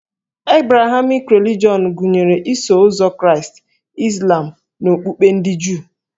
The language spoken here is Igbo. Ebrahamik relijọn gụnyere Iso ụzọ Kraịst, Izlam na okpukpe ndị Juu